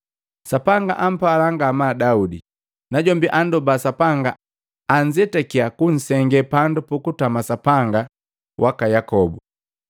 Sapanga ampala ngamaa Daudi, najombi andoba Sapanga anzetakiya kunsenge pandu pukutama Sapanga waka Yakobu.